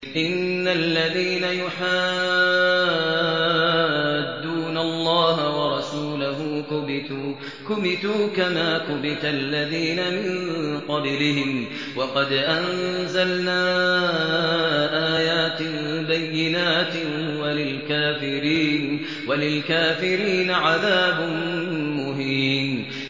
إِنَّ الَّذِينَ يُحَادُّونَ اللَّهَ وَرَسُولَهُ كُبِتُوا كَمَا كُبِتَ الَّذِينَ مِن قَبْلِهِمْ ۚ وَقَدْ أَنزَلْنَا آيَاتٍ بَيِّنَاتٍ ۚ وَلِلْكَافِرِينَ عَذَابٌ مُّهِينٌ